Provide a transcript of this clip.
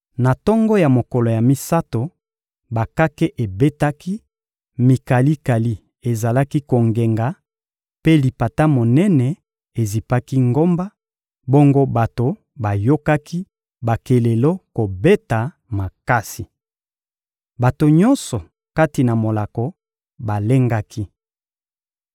Na tongo ya mokolo ya misato, bakake ebetaki, mikalikali ezalaki kongenga, mpe lipata monene ezipaki ngomba; bongo bato bayokaki bakelelo kobeta makasi. Bato nyonso kati na molako balengaki.